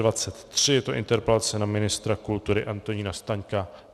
Je to interpelace na ministra kultury Antonína Staňka.